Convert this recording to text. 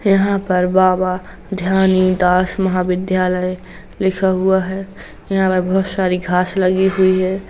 यहाँ पर बाबा ध्यानीदास महाविद्यालय लिखा हुआ है। यहाँ पर बहुत सारी घांस लगी हुई है।